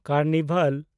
carnival